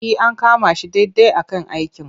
E, an kama shi daidai a kan aikin.